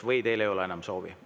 Või teil ei ole enam soovi?